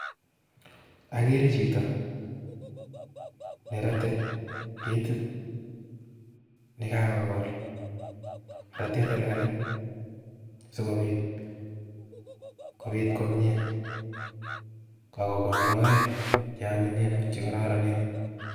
Ageere chito nerate ketit nekagogol, ratee tagalgalit sigobit kobiit komyie. Kogool logoek cheanyinyen ak chekararanen